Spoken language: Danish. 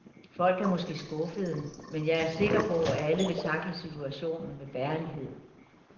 Folk er måske skuffede, men jeg er sikker på, at alle vil tackle situationen med værdighed.